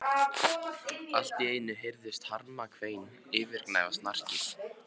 Allt í einu heyrðist harmakvein yfirgnæfa snarkið.